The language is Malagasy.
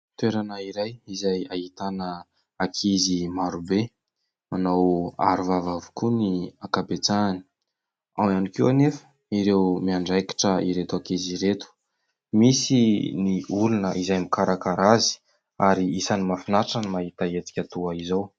Toerana iray izay ahitana ankizy marobe manao aro vava avokoa ny ankabetsahany, ao ihany koa anefa ireo miandraikitra ireto ankizy ireto, misy ny olona izay mikarakara azy ary isany mahafinaritra ny mahita hetsika toa izao.